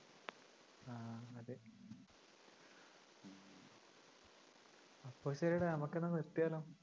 അപ്പൊ ശരീടാ നമുക്കെന്നാ നിർത്തിയാലോ